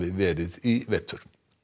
verið í vetur